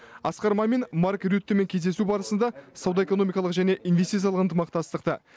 асқар мамин марк рюттемен кездесу барысында сауда экономикалық және инвестициялық ынтымақтастықты